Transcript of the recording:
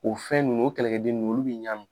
O fɛn nunnu, o kɛlɛkɛ den nunnu olu be ɲami.